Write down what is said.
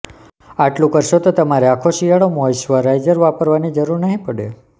આટલું કરશો તો તમારે આખો શિયાળો મોઈશ્ચરાઈઝર વાપરવાની જરૂર નહીં પડે